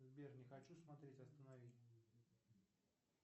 сбер не хочу смотреть останови